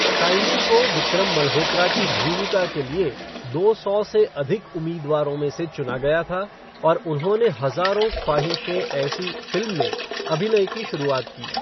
Shiny को विक्रम मल्होत्रा की भूमिका के लिए दो सौ से अधिक उम्मीदवारों में से चुना गया था और उन्होंने हज़ारों ख्वाहिशें ऐसी फ़िल्म में अभिनय की शुरुआत की।